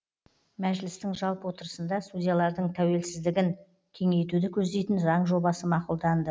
мәжілістің жалпы отырысында судьялардың тәуелсіздігін кеңейтуді көздейтін заң жобасы мақұлданды